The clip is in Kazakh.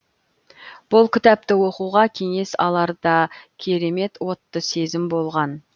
бұл кітапты оқуға кеңес алар да керемет отты сезім болған